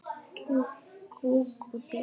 Kúk og piss.